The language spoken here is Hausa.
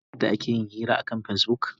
Shin kun san yadda ake yin hira akan Facebook?